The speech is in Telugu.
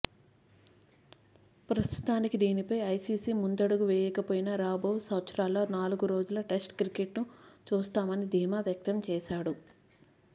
ప్రస్తుతానికి దీనిపై ఐసీసీ ముందడుగు వేయకపోయినా రాబోవు సంవత్సరాల్లో నాలుగు రోజుల టెస్టు క్రికెట్ను చూస్తామని ధీమా వ్యక్తం చేశాడు